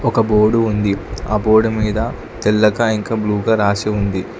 ఒక బోడు ఉంది. ఆ బోడు మీద తెల్లగా ఇంకా బ్లూ గా రాసి ఉంది.